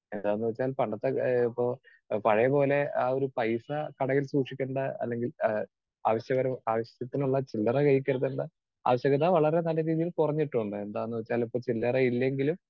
Speaker 2 എന്താന്ന് വെച്ചാൽ പണ്ടത്തെ ഏഹ് ഇപ്പോ പഴയപോലെ ആ ഒരു പൈസ കടയിൽ സൂക്ഷിക്കേണ്ട അല്ലെങ്കിൽ ഏഹ് ആവശ്യക ആവശ്യത്തിനുള്ള ചില്ലറ കയ്യിൽ കരുതേണ്ട ആവശ്യകത വളരെ നല്ല രീതിയിൽ കുറഞ്ഞിട്ടുണ്ട്. എന്നുവെച്ചാൽ ഇപ്പോൾ ചില്ലറ ഇല്ലെങ്കിലും